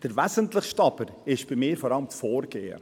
Der Wesentlichste aber ist für mich vor allem das Vorgehen.